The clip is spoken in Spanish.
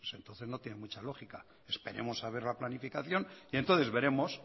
pues entonces no tiene mucha lógica esperemos a ver la planificación y entonces veremos